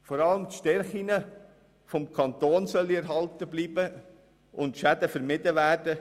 Vor allem die Stärken des Kantons sollen erhalten bleiben und Schäden vermieden werden.